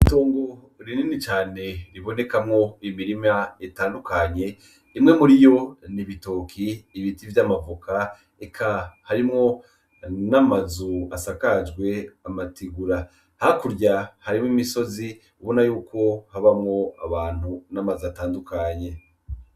Itongo rinini cane ribonekamwo imirima itandukanye ,imwe muriyo n’ibitoke , ibiti vy’amavoka eka harimwo n’amazu asakajwe amategura hakurya harimwo imisozi ubona yuko habamwo abantu n’amazu atandukanye.